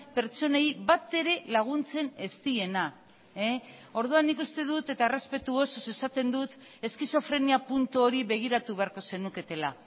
pertsonei batere laguntzen ez diena orduan nik uste dut eta errespetu osoz esaten dut eskizofrenia puntu hori begiratu beharko zenuketela